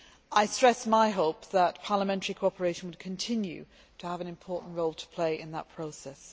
I stress my hope that parliamentary cooperation will continue to have an important role to play in that process.